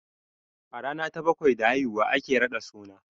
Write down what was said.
A rana ta bakwai da haihuwa ake raɗa suna